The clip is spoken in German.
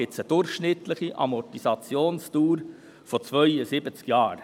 Dies ergibt eine durchschnittliche Amortisationsdauer von 72 Jahren.